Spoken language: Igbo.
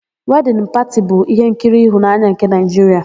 Wedịn Pati bụ ihenkiri ịhụnanya nke Naịjiria.